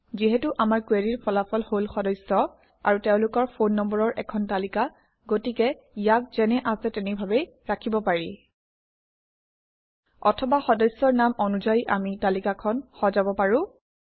যিহেতু আমাৰ কুৱেৰিৰ ফলাফল হল সদস্য আৰু তেওঁলোকৰ ফোন নম্বৰৰ এখন তালিকা গতিকে ইয়াক যেনে আছে তেনেভাৱেই ৰাখিব পাৰি অথবা সদস্যৰ নাম অনুযায়ী আমি তালিকাখন সজাব পাৰোঁ